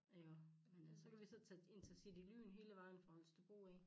Iggå men altså så kan vi så tage intercity lyn hele vejen fra Holstebro af